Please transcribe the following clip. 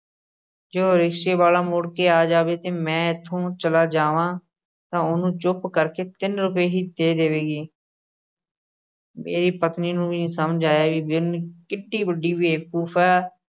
ਜੇ ਉਹ ਰਿਕਸ਼ਾ ਵਾਲ਼ਾ ਮੁੜ ਕੇ ਆ ਜਾਵੇ ਤੇ ਮੈਂ ਇੱਥੋਂ ਚਲਾ ਜਾਵਾਂ ਤਾਂ ਉਹਨੂੰ ਚੁੱਪ ਕਰਕੇ ਤਿੰਨ ਰੁਪਏ ਹੀ ਦੇ ਦੇਵੇਗੀ ਮੇਰੀ ਪਤਨੀ ਨੂੰ ਵੀ ਨੀ ਸਮਝ ਆਇਆ ਕਿੱਢੀ ਵੱਡੀ ਬੇਵਕੂਫ਼ ਹੈ,